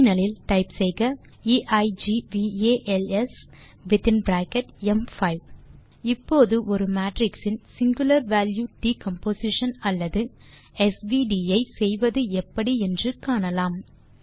terminal இல் type செய்க equals within bracket ம்5 இப்போது ஒரு மேட்ரிக்ஸ் இன் சிங்குலர் வால்யூ டிகம்போசிஷன் அல்லது ஸ் வி ட் ஐ செய்வது எப்படி என்று காணலாம்